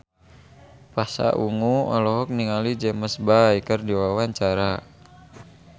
Pasha Ungu olohok ningali James Bay keur diwawancara